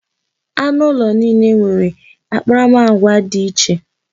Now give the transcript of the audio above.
Anụ ulo niile nwere akparamagwa dị iche.